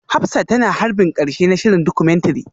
Hafsat tana harbin karshe na shirin Documentary